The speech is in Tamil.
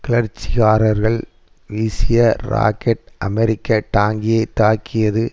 கிளர்ச்சிக்காரர்கள் வீசிய ராக்கெட் அமெரிக்க டாங்கியை தாக்கியது